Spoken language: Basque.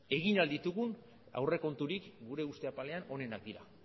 egin ahal ditugun aurrekonturik gure uste apalean onenak dira